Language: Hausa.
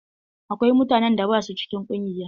Akwai mutanen da ba sua cikin ƙungiya.